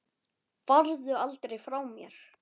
Farðu aldrei frá mér.